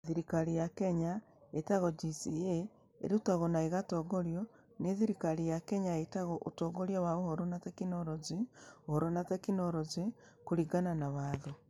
Thirikari ya Kenya ĩĩtagwo GCA ĩrutagwo na ĩgatongorio nĩ thirikari ya Kenya ĩĩtagwo Ũtongoria wa Ũhoro na Teknoroji (Ũhoro na Teknoroji) kũringana na watho.